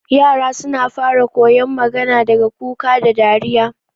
yara suna fara koyon magana daga kuka da dariya